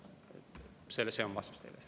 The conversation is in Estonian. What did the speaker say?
See on vastus teile.